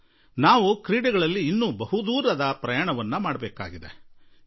ನಾವು ಕ್ರೀಡೆಗಳಲ್ಲಿ ಬಹುದೂರ ಪ್ರಯಾಣ ಮಾಡುವ ಅಗತ್ಯ ಇದೆ